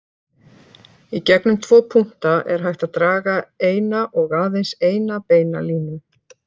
Í gegnum tvo punkta er hægt að draga eina og aðeins eina beina línu.